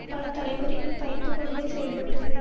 பலதலைமுறைகள் பயந்து கொண்டே செயல்பட்டது